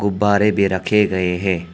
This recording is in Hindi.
बारे भी रखे गए हैं।